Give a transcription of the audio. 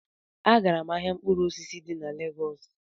Agara m ahịa mkpụrụ osisi dị na Lagos